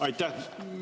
Aitäh!